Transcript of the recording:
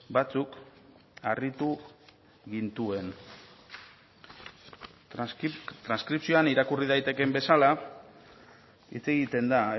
batzuk harritu gintuen transkripzioan irakurri daitekeen bezala hitz egiten da